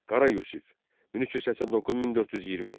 Qara Yusif, 1389-1420.